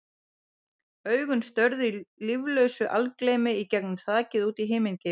Augun störðu í líflausu algleymi í gegnum þakið og út í himingeiminn.